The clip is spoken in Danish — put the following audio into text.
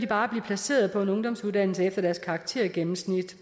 bare blive placeret på en ungdomsuddannelse efter deres karaktergennemsnit